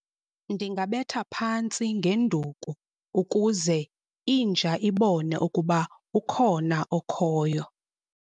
Ndingabetha phantsi ngenduku ukuze inja ibone ukuba ukhona okhoyo.